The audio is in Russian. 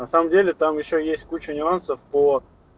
на самом деле там ещё есть куча нюансов по